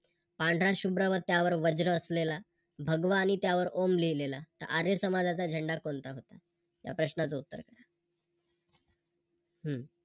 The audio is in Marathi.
पांढरा शुभ्र व त्यावर वज्र असलेला, भगवा आणि त्यावर ओम लिहलेला, तर आर्य समाजाचा झेंडा कोणता होता? या प्रश्नाच उत्तर काय हम्म